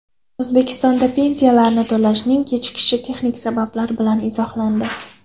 O‘zbekistonda pensiyalarni to‘lashning kechikishi texnik sabablar bilan izohlandi.